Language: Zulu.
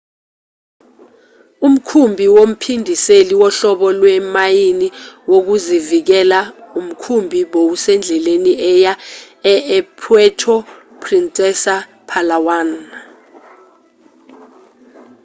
umkhumbi womphindiseli wohlobo lwemayini wokuzivikela umkhumbi bowusendleleni eya e e-puerto princesa epalawan